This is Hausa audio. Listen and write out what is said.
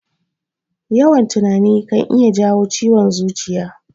Yawan tunani kan iya jawo ciwon zuciya.